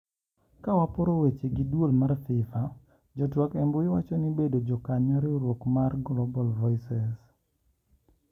Kawaporo weche gi e duol mar FIFA ,jotwak embui wako ni bedo jakanyo riwruok mara Global voices .